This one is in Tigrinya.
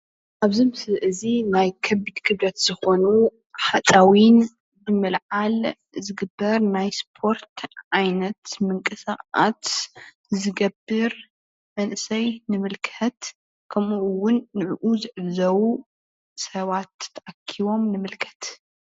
አብዚ ምስሊ እዚ ናይ ከቢድ ክብደት ዝኮኑ ሓፂዊን መልዓል ዝግበር ናይ ስፓርት ዓይነት ምንቅስቃስ ዝገበር መንእሰይ ንምልከት። ከምኡ ውን ንዕዕ ዝዕዘቡ ስባት ተአኪቦም ንምልከት።